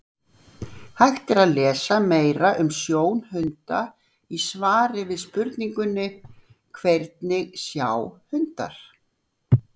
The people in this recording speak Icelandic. Hægt er að lesa meira um sjón hunda í svari við spurningunni Hvernig sjá hundar?